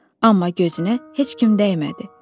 Amma gözünə heç kim dəymədi.